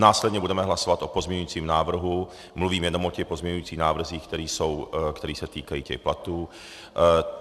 Následně budeme hlasovat o pozměňovacím návrhu - mluvím jenom o těch pozměňovacích návrzích, které se týkají těch platů.